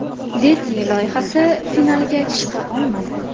Deti” loyihasi finaliga chiqa olmadi.